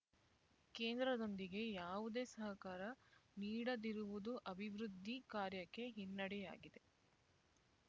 ಕೇಂದ್ರದೊಂದಿಗೆ ಯಾವುದೇ ಸಹಕಾರ ನೀಡದಿರುವುದು ಅಭಿವೃದ್ಧಿ ಕಾರ್ಯಕ್ಕೆ ಹಿನ್ನೆಡೆಯಾಗಿದೆ